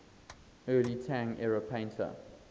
early tang era painter